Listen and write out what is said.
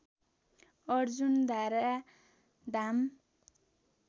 Arjundhara Dham